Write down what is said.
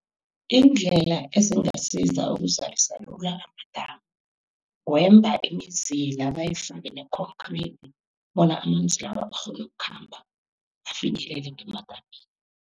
Iindlela ezingasiza ukuzalisa lula amadamu, kwemba imizila, bayifake ne-concrete, bona amanzi lawa, akghone ukukhamba, afinyelele ngemadamini.